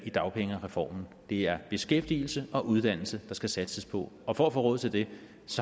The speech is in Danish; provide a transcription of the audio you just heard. i dagpengereformen det er beskæftigelse og uddannelse der skal satses på og for at få råd til det